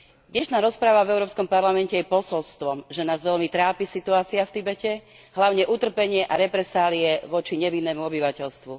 Dnešná rozprava v Európskom parlamente je posolstvom, že nás veľmi trápi situácia v Tibete, hlavne utrpenie a represálie voči nevinnému obyvateľstvu.